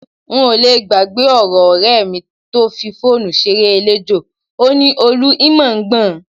N ò le gbàgbé ọ̀rọ̀ ọ̀rẹ́ mi tó fi fóònù ṣeré eléjò, ó ní, "Olú, ì mà ń gbọ́n".